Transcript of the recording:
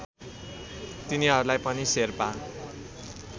तिनीहरूलाई पनि शेर्पा